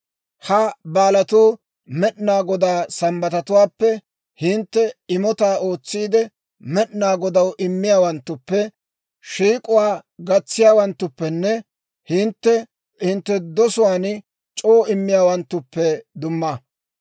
Ha baalatuu Med'inaa Godaa Sambbatatuwaappe, hintte imotaa ootsiide Med'inaa Godaw immiyaawanttuppe, shiik'uwaa gatsiyaawanttuppenne hintte hintte dosuwaan c'oo immiyaawanttuppe dumma.